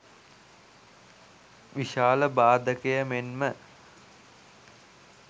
විශාල බාධකය මෙන්ම